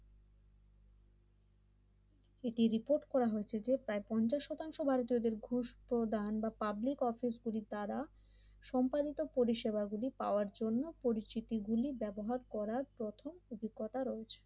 এটি রিপোর্ট করা হয়েছে যে প্রায় পঞ্চাশ শতাংশ ভারতীয়দের ঘুষ প্রদান বা পাবলিক অফিস গুলির দ্বারা সম্পাদিত পরিষেবা গুলি খাওয়ার জন্য পরিচিতি গুলি ব্যবহার করার প্রথম অভিজ্ঞতা রয়েছে।